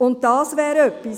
Und das wäre etwas.